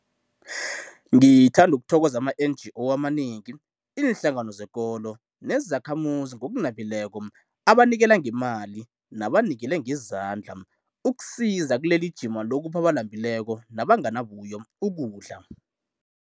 Ngithanda ukuthokoza ama-NGO amanengi, iinhlangano zezekolo nezakhamuzi ngokunabileko abanikela ngemali nabanikele ngezandla ukusiza kilelijima lokupha abalambileko nabanganabuyo ukudla.